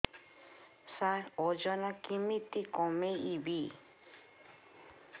ସାର ଓଜନ କେମିତି କମେଇବି